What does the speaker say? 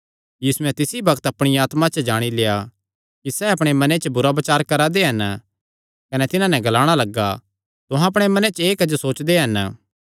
यीशुयैं तिसी बग्त अपणे मने च जाणी लेआ कि सैह़ अपणेअपणे मने च बुरा बचार करा दे हन कने तिन्हां नैं ग्लाणा लग्गा तुहां अपणेअपणे मने च एह़ क्जो सोचा दे हन